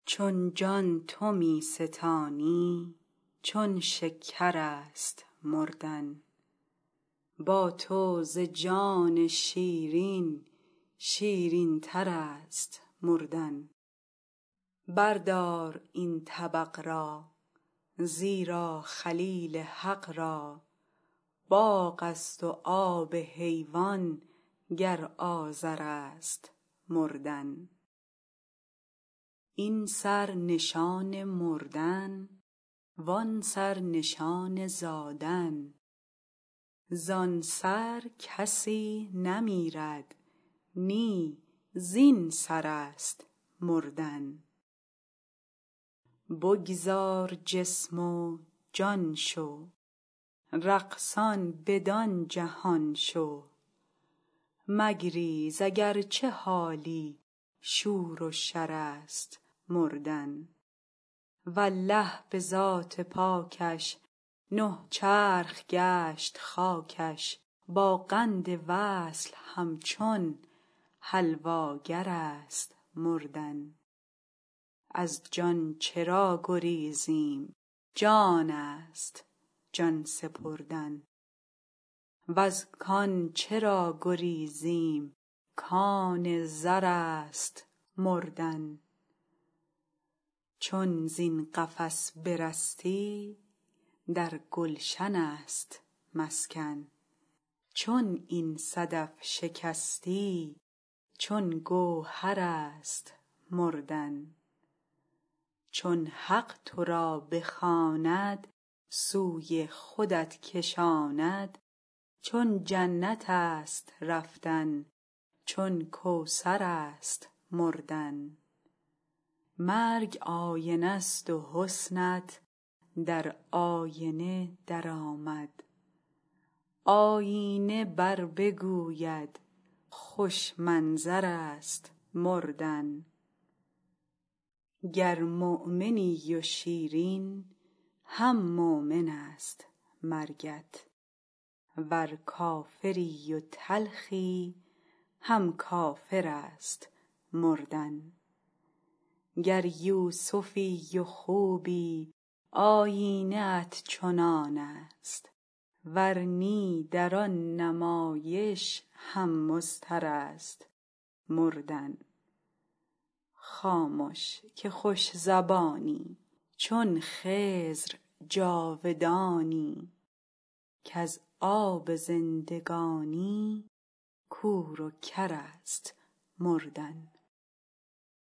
چون جان تو می ستانی چون شکر است مردن با تو ز جان شیرین شیرینتر است مردن بردار این طبق را زیرا خلیل حق را باغ است و آب حیوان گر آذر است مردن این سر نشان مردن و آن سر نشان زادن زان سر کسی نمیرد نی زین سر است مردن بگذار جسم و جان شو رقصان بدان جهان شو مگریز اگر چه حالی شور و شر است مردن والله به ذات پاکش نه چرخ گشت خاکش با قند وصل همچون حلواگر است مردن از جان چرا گریزیم جان است جان سپردن وز کان چرا گریزیم کان زر است مردن چون زین قفس برستی در گلشن است مسکن چون این صدف شکستی چون گوهر است مردن چون حق تو را بخواند سوی خودت کشاند چون جنت است رفتن چون کوثر است مردن مرگ آینه ست و حسنت در آینه درآمد آیینه بربگوید خوش منظر است مردن گر مؤمنی و شیرین هم مؤمن است مرگت ور کافری و تلخی هم کافر است مردن گر یوسفی و خوبی آیینه ات چنان است ور نی در آن نمایش هم مضطر است مردن خامش که خوش زبانی چون خضر جاودانی کز آب زندگانی کور و کر است مردن